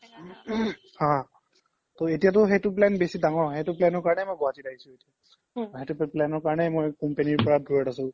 হা হা এতিয়া তো সেইতো plan বেছি দাঙৰ সেইতো plan কাৰনে মই গুৱাহাতিত আহিছো এতিয়া সেইতো plan ৰ কাৰনে মই company ৰ পৰা দুৰত আছো